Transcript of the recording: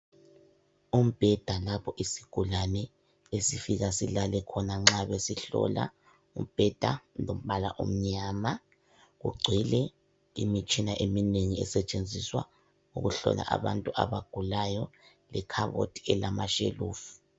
Umbheda lapho isigulane esifika silale khona nxa besihlola. Umbheda ulombala omnyama ugcwele imitshina eminengi esetshenziswa ukuhlola abantu abagulayo lekhabothi elamashelufu.